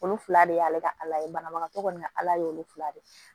Olu fila de y'ale ka ala ye banabagatɔ kɔni ka ala y'olu fila de ye